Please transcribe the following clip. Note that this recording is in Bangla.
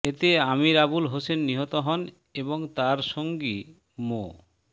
এতে আমির আবুল হোসেন নিহত হন এবং তাঁর সঙ্গী মো